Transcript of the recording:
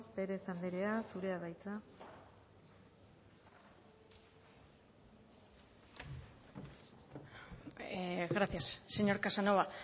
pérez anderea zurea da hitza gracias señor casanova